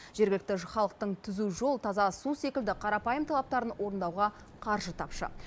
жергілікті халықтың түзу жол таза су секілді қарапайым талаптарын орындауға қаржы тапшы